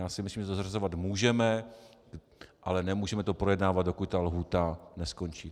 Já si myslím, že to zařazovat můžeme, ale nemůžeme to projednávat, dokud ta lhůta neskončí.